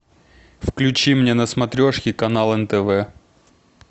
включи мне на смотрешке канал нтв